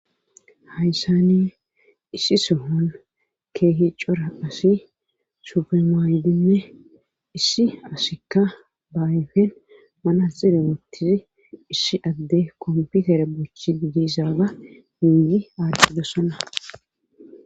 hayssani issi sohon keehi cora asi sufe maaydine issi asikka baayefen mana xire wootisi issi adde komputere bochi digisaaga miiyi aaddidosana